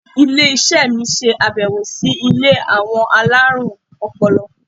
Ilé iṣẹ́ mi ṣe abẹwo sí ilé àwọn alárùn ọpọlọ.